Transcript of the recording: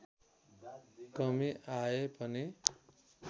कमी आए पनि